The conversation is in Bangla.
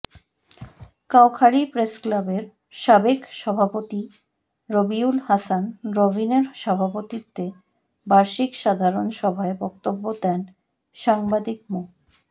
কাউখালী প্রেসক্লাবের সাবেক সভাপতি রবিউল হাসান রবিনের সভাপতিত্বে বার্ষিক সাধারণ সভায় বক্তব্য দেন সাংবাদিক মো